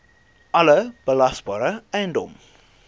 alle belasbare eiendom